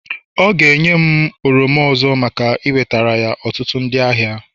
ọ ga-enye m oranges ọzọ maka iwetara ya ọtụtụ ndị ahịa